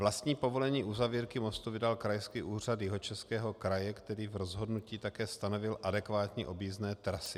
Vlastní povolení uzavírky mostu vydal Krajský úřad Jihočeského kraje, který v rozhodnutí také stanovil adekvátní objízdné trasy.